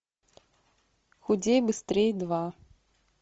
худей быстрей два